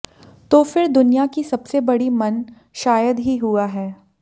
तो फिर दुनिया की सबसे बड़ी मन शायद ही हुआ है